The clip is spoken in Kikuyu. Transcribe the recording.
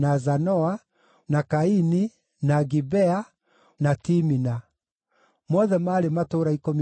na Kaini, na Gibea, na Timina; mothe maarĩ matũũra ikũmi na tũtũũra twamo.